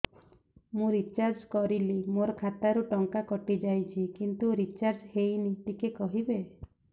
ମୁ ରିଚାର୍ଜ କରିଲି ମୋର ଖାତା ରୁ ଟଙ୍କା କଟି ଯାଇଛି କିନ୍ତୁ ରିଚାର୍ଜ ହେଇନି ଟିକେ କହିବେ